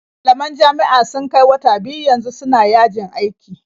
Malaman jami'a sun kai wata biyu yanzu suna yajin aiki.